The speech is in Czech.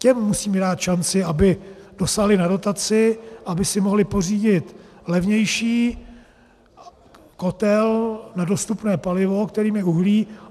Těm musíme dát šanci, aby dosáhli na dotaci, aby si mohli pořídit levnější kotel na dostupné palivo, kterým je uhlí.